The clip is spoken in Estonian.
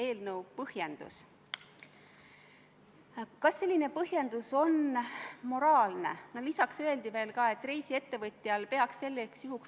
Milline on teie suhtumine sellesse tõsisesse etnilisse konflikti, kui te praegu soovite saada heakskiitu?